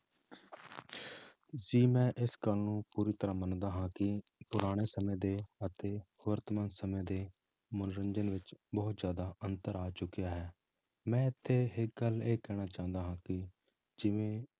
ਜੀ ਮੈਂ ਇਸ ਗੱਲ ਨੂੰ ਪੂਰੀ ਤਰ੍ਹਾਂ ਮੰਨਦਾ ਹਾਂ ਕਿ ਪੁਰਾਣੇ ਸਮੇਂ ਦੇ ਅਤੇ ਵਰਤਮਾਨ ਸਮੇਂ ਦੇ ਮਨੋਰੰਜਨ ਵਿੱਚ ਬਹੁਤ ਜ਼ਿਆਦਾ ਅੰਤਰ ਆ ਚੁੱਕਿਆ ਹੈ, ਮੈਂ ਇੱਥੇ ਇੱਕ ਗੱਲ ਇਹ ਕਹਿਣਾ ਚਾਹੁੰਦਾ ਹਾਂ ਕਿ ਜਿਵੇਂ